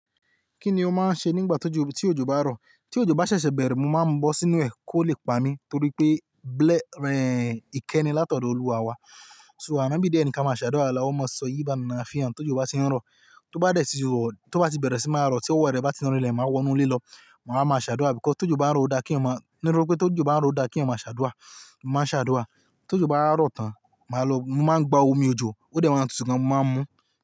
Kíni ó máa ń ṣe nígbà tí ojo, tí ojo bá rọ̀? Tí ojo bá ṣẹ̀ṣẹ̀ bẹ̀rẹ̀, mo máa ń bọ́ sínú ẹ̀ kó lè pa mí torí pé, ìkẹ́ni látọ̀dọ̀ Olúwa wa. So, Anabí dẹ̀ ni ka máa ṣàdúà aláhu-má-sọyib-anafiàn tó jó ba tí ń rọ̀." Tó bá dẹ̀ sí i rọ̀, tó bá ti bẹ̀rẹ̀ sí máa rọ̀, tí ówo rẹ bá ti rìn lẹ̀, màá wọ inú ilé lọ, màá wá ma ṣàdúà because, tó jó bá ń rọ̀ o dáa kí n eeyan máa, nítorí pé tó jó bá ń rọ̀ o dáa kí eeyan máa ṣàdúà, mo màá ṣàdúà. Tó jó bá wá rọ̀ tán, màá lọ, mo máa ń gba omi ojo, ó dẹ̀ máa tútu gan, mo máa ń mu.